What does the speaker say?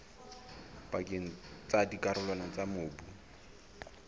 pakeng tsa dikarolwana tsa mobu